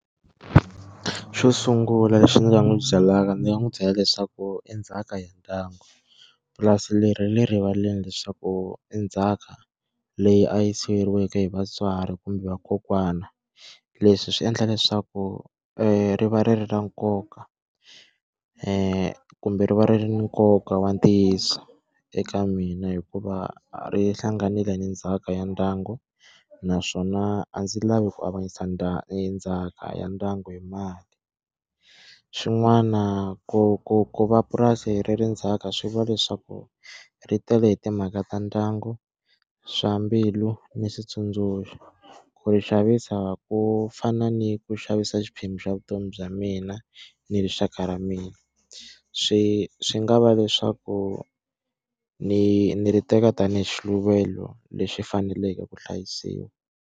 Xo sungula lexi ndzi nga n'wi byelaka ndzi nga n'wi byela leswaku i ndzhaka ya ndyangu. Purasi leri ra le rivaleni leswaku i ndzhaka leyi a yi siyeriweke hi vatswari kumbe vakokwana. Leswi swi endla leswaku ri va ri ri ra nkoka ku kumbe ri va ri na nkoka wa ntiyiso eka mina hikuva ri hlanganile ni ndzhaka ya ndyangu, naswona a ndzi lavi ku avanyisa ndzhaka ya ndyangu hi mali. Xin'wana ku ku ku va purasi ri ri ndzhaka swi vula leswaku ri tele hi timhaka ta ndyangu, swa mbilu, ni switsundzuxo, ku ri xavisa ku fana ni ku xavisa xiphemu xa vutomi bya mina ni rixaka ra mina. Swi swi nga va leswaku ni ni ri teka tanihi xiluvelo lexi faneleke ku hlayisiwa.